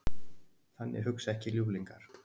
Þannig hugsar ekki ljúflingur.